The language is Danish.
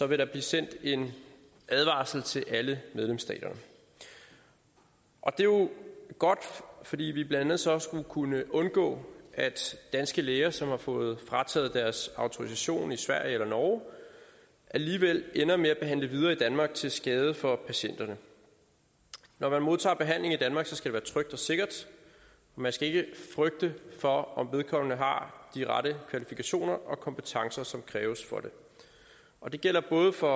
vil der blive sendt en advarsel til alle medlemsstater og det er jo godt fordi vi blandt andet så skulle kunne undgå at danske læger som har fået frataget deres autorisation i sverige eller norge alligevel ender med at behandle videre i danmark til skade for patienterne når man modtager behandling i danmark skal det være trygt og sikkert man skal ikke frygte for om vedkommende har de rette kvalifikationer og kompetencer som kræves og det gælder både for